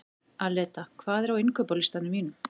Aleta, hvað er á innkaupalistanum mínum?